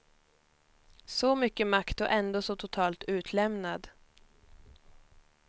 Så mycket makt och ändå så totalt utlämnad.